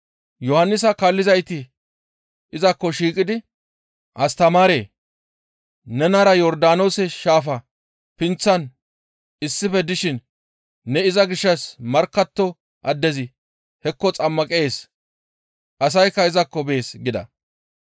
Yohannisa kaallizayti izakko shiiqidi, «Astamaaree! Nenara Yordaanoose shaafa pinththan issife dishin ne iza gishshas markkatto addezi hekko xammaqees; asaykka izakko bees» gida.